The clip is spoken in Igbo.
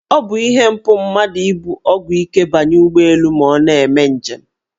Ọ bụ ihe mpụ mmadụ ibu ọgwụ ike banye ụgbọelu ma ọ na-eme njem.